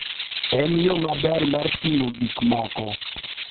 En yo maber mar ting'o gik moko.